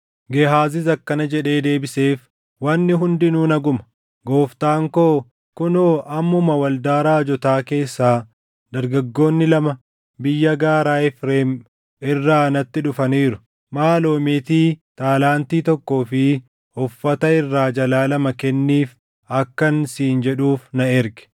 Gehaazis akkana jedhee deebiseef; “Wanni hundinuu naguma. Gooftaan koo, ‘Kunoo ammuma waldaa raajotaa keessaa dargaggoonni lama biyya gaaraa Efreem irraa natti dhufaniiru. Maaloo meetii taalaantii tokkoo fi uffata irraa jalaa lama kenniif’ akkan siin jedhuuf na erge.”